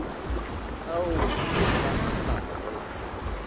ao o ka a fago